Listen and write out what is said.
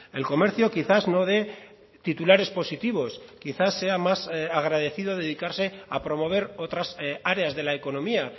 el comercio quizás no dé titulares positivos quizás sea más agradecido dedicarse a promover otras áreas de la economía